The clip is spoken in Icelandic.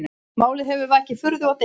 Málið hefur vakið furðu og deilur